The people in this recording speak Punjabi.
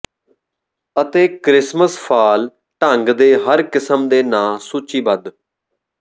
ਅਤੇ ਕ੍ਰਿਸਮਸ ਫਾਲ ਢੰਗ ਦੇ ਹਰ ਕਿਸਮ ਦੇ ਨਾ ਸੂਚੀਬੱਧ